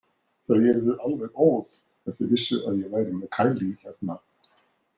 Þau yrðu alveg óð ef þau vissu að ég væri með Kyle hérna.